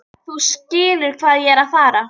Þú skilur hvað ég er að fara.